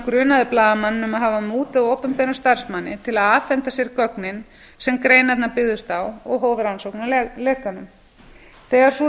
um að hafa mútað opinberum starfsmanni til að afhenda sér gögnin sem greinarnar byggðust á og hóf rannsókn á lekanum þegar sú